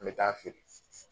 An mi taa fili